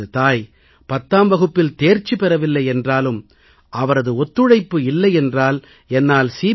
எனது தாய் 10ஆம் வகுப்பில் தேர்ச்சி பெறவில்லை என்றாலும் அவரது ஒத்துழைப்பு இல்லை என்றால் என்னால் சி